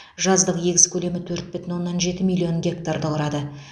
жаздық егіс көлемі төрт бүтін оннан жеті миллион гектар құрады